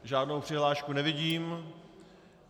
Žádnou přihlášku nevidím.